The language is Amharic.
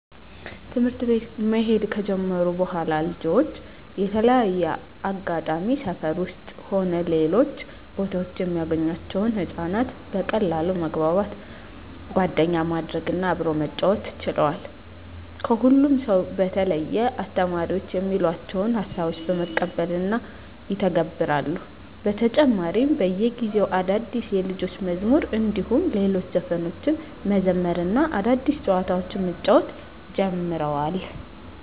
ትምህርት ቤት መሄድ ከጀመሩ በኃላልጆች በተለያየ አጋጣሚ ሰፈር ውስጥም ሆነ ሌሎች ቦታወች የሚያገኟቸውን ህፃናት በቀላሉ መግባባት፣ ጓደኛ ማድረግ እና አብሮ መጫወት ችለዋል። ከሁሉም ሰው በተለየ አስተማሪዎች የሚሏቸውን ሀሳቦች በመቀበል እና ይተገብራሉ። በተጨማሪም በየጊዜው አዳዲስ የልጆች መዝሙር እንዲሁም ሌሎች ዘፈኖችን መዘመር እና አዳዲስ ጨዋታዎችን መጫወት ጀምረዋል።